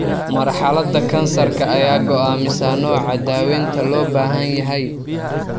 Marxaladda kansarka ayaa go'aamisa nooca daaweynta loo baahan yahay.